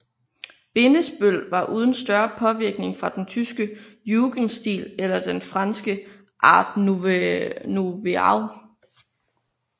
Bindesbøll var uden større påvirkning fra den tyske jugendstil eller den franske art nouveau